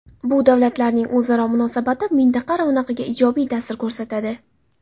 Bu davlatlarning o‘zaro munosabati mintaqa ravnaqiga ijobiy ta’sir ko‘rsatadi.